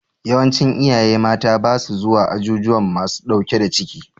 Yawancin iyaye mata ba sa zuwa azuzuwan masu ɗauke da ciki.